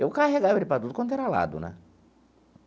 Eu carregava ele para tudo quanto era lado, né?